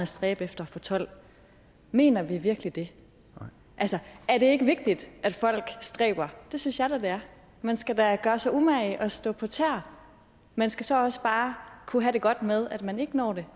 stræbe efter at få tolvte mener vi virkelig det altså at det ikke vigtigt at folk stræber det synes jeg da det man skal da gøre sig umage og stå på tæer man skal så også bare kunne have det godt med at man ikke når det